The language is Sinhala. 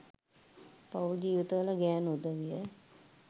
පවුල් ජීවිතවල ගෑණු උදවිය